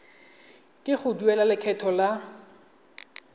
ke go duela lekgetho la